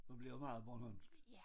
Så bliver det meget bornholmsk